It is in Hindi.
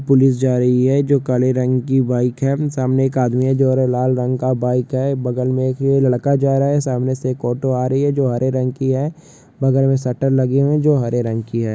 पुलिस जा रही है जो काले रंग की बाईक है सामने एक आदमी है जो हरे लाल रंग का बाईक है बगल में एक लड़का जा रहा है सामने से एक ऑटो आ रही है जो हरे रंग की है बगल में शटर लगी है जो हरे रंग की है।